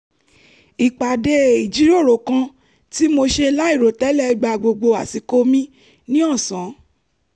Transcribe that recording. ìpàdé ìjíròrò kan tí mo ṣe láìròtẹ́lẹ̀ gba gbogbo àsìkò mi ní ọ̀sán